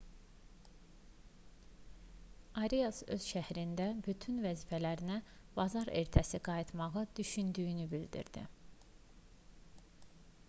arias öz şərhində bütün vəzifələrinə bazar ertəsi qayıtmağı düşündüyünü bildirdi